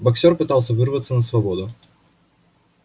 боксёр пытался вырваться на свободу